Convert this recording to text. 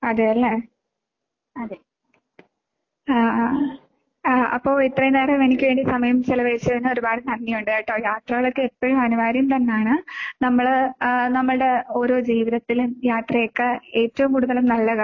അതേ അല്ലേ? ആ ആ ആ അപ്പൊ ഇത്രയും നേരം എനിക്ക് വേണ്ടി സമയംചിലവഴിച്ചതിന് ഒരുപാട് നന്ദിയുണ്ട് കെട്ടോ. യാത്രകളൊക്കെ എപ്പഴും അനിവാര്യം തന്നാണ്. നമ്മള് ആഹ് നമ്മൾടെ ഓരോ ജീവിതത്തിലും യാത്രയൊക്കെ ഏറ്റവും കൂടുതലും നല്ലതാ.